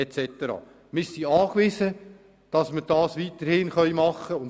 Wir sind darauf angewiesen, dass wir das weiterhin so handhaben können.